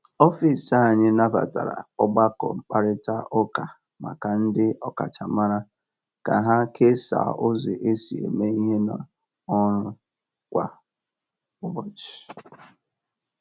Ọfịs anyị nabatara ọgbakọ mkparịta ụka maka ndị ọkachamara ka ha kesaa ụzọ e si eme ihe n’ọrụ kwa ụbọchị.